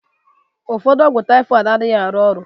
Ụfọdụ ọgwụ typhoid adịghị arụ ọrụ